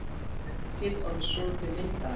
Pönkið orðið soltið miðaldra.